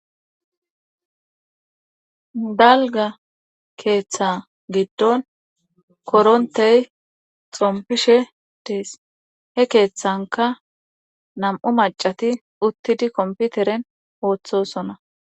dalga keeththa giddon korontey xompishe dees he keeththanka nam7u macati uttidi komputeren ooththosona